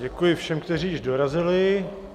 Děkuji všem, kteří již dorazili.